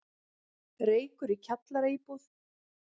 Reykur í kjallaraíbúð